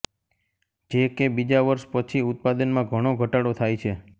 જે કે બીજા વર્ષ પછી ઉત્પાદનમાં ઘણો ઘટાડો થાય છે